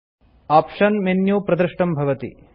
option menu प्रदृष्टं भवति